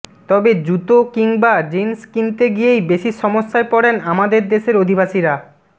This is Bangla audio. তবে জুিতো কিংবা জিন্স কিনতে গিয়েই বেশি সমস্যায় পড়েন আমাদের দেশের অধিবাসীরা